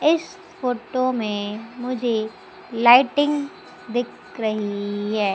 इस फोटो में मुझे लाइटिंग दिख रही हैं।